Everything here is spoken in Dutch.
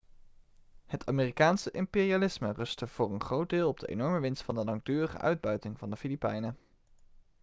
het amerikaanse imperialisme rustte voor een groot deel op de enorme winst van de langdurige uitbuiting van de filipijnen